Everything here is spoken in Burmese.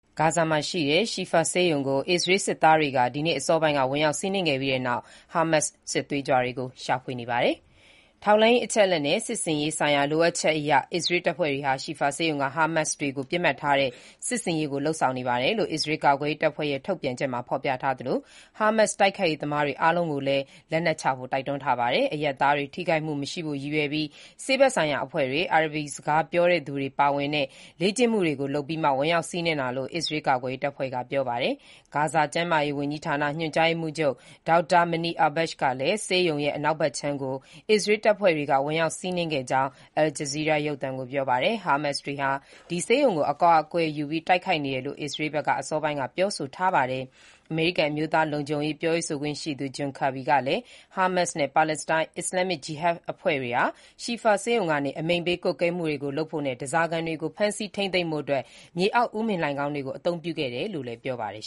ဂါဇာမှာရှိတဲ့ Al-Shifa ဆေးရုံကို အစ္စရေးစစ်သားတွေက ဒီနေ့(နိုဝင်ဘာ ၁၅) အစောပိုင်းက ဝင်ရောက်စီးနင်းခဲ့ပြီးနောက် ဟာမတ်စ်စစ်သွေးကြွတွေကို ရှာဖွေနေပါတယ်။ “ထောက်လှမ်းရေးအချက်အလက်နဲ့ စစ်ဆင်ရေးဆိုင်ရာ လိုအပ်ချက်အရ အစ္စရေး တပ်ဖွဲ့တွေဟာ Al-Shifa ဆေးရုံက ဟာမတ်စ်တွေကို ပစ်မှတ်ထားတဲ့ စစ်ဆင်ရေး လုပ်ဆောင်နေပါတယ်” လို့ အစ္စရေး ကာကွယ်ရေးတပ်ဖွဲ့ရဲ့ ထုတ်ပြန်ချက်မှာ ဖော်ပြထားသလို၊ ဟာမတ်စ်တိုက်ခိုက်ရေးသမားတွေ အားလုံးကိုလည်း လက်နက်ချဖို့ တိုက်တွန်းခဲ့ပါတယ်။ အရပ်သားတွေ ထိခိုက်မှုမရှိဖို့ ရည်ရွယ်ပြီး ဆေးဘက်ဆိုင်ရာအဖွဲ့တွေ၊ အာရပ်စကား ပြောဆိုတတ်သူတွေပါဝင်တဲ့ လေ့ကျင့်မှုတွေကို လုပ်ပြီးမှ ဝင်ရောက်စီးနင်းတာလို့ အစ္စရေးကာကွယ်ရေးတပ်ဖွဲ့က ပြောပါတယ်။ ဂါဇာကျန်းမာရေးဝန်ကြီးဌာန ညွှန်ကြားရေးမှူးချုပ် ဒေါက်တာ Munir al-Bursh ကလည်း ဆေးရုံရဲ့ အနောက်ဘက်ခြမ်းကို အစ္စရေးတပ်ဖွဲ့တွေက ဝင်ရောက်စီးနင်းခဲ့ကြောင်း Al Jazeera ရုပ်သံကို ပြောပါတယ်။ ဟာမတ်စ်တွေဟာ ဒီဆေးရုံကို အကာအကွယ်ယူပြီး တိုက်ခိုက်နေတယ်လို့ အစ္စရေးဘက်က အစောပိုင်းက ပြောဆိုထားတာပါ။ အမေရိကန် အမျိုးသားလုံခြုံရေး ပြောရေးဆိုခွင့်ရှိသူ John Kirby ကလည်း ဟာမတ်စ်နဲ့ ပါလက်စတိုင်း အစ္စလာမ်မစ် ဂျီဟတ်အဖွဲ့ဝင်တွေဟာ Al-Shifa ဆေးရုံကနေ အမိန့်ပေးကွပ်ကဲမှုတွေကို လုပ်ဖို့နဲ့ ဓားစာခံတွေကို ဖမ်းဆီးထိန်းသိမ်းဖို့အတွက် မြေအောက်ဥမင်လှိုဏ်ခေါင်းတွေကို အသုံးပြုခဲ့တယ်လို့လည်း ပြောပါတယ်